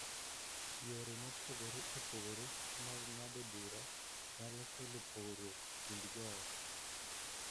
Yore mopogore opogore mag ng�ado bura nyalo kelo pogruok e kind joot,